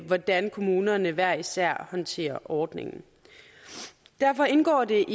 hvordan kommunerne hver især håndterer ordningen derfor indgår det